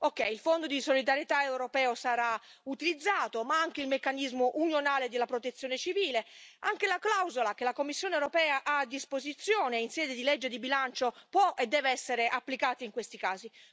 Va bene, il Fondo di solidarietà europeo sarà utilizzato, ma anche il meccanismo unioniale della Protezione civile, anche la clausola che la Commissione europea ha a disposizione in sede di legge di bilancio può e deve essere applicato in questi casi.